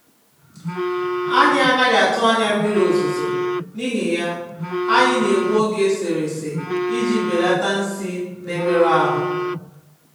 Anyị́ ànaghị́ atụ́ ányá mmiri ozùzò, n'íhì yá, anyị́ na-ègbù ogè èsèrésè iji bèlàtá nsị́ nà-èmérụ́ áhụ́.